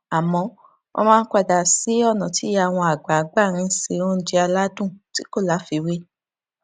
àmó wón máa ń padà sí ònà tí ìyá wọn àgbà gbà ń se oúnjẹ aládùn tí kò láfiwé